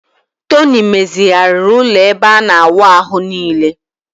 Tony mezighariiri ulo ebe ana awu ahu nile